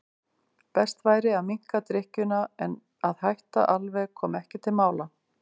Best væri að minnka drykkjuna en að hætta alveg kom ekki til mála.